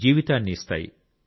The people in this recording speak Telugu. జీవితాన్ని ఇస్తాయి